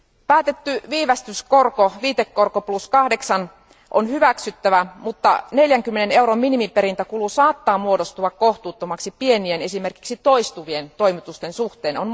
Päätetty viivästyskorko, viitekorko 8 prosenttia, on hyväksyttävä, mutta 40 euron minimiperintäkulu saattaa muodostua kohtuuttomaksi pienien, esimerkiksi toistuvien toimitusten suhteen.